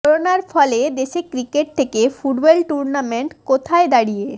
করোনার ফলে দেশে ক্রিকেট থেকে ফুটবল টুর্নামেন্ট কোথায় দাঁড়িয়ে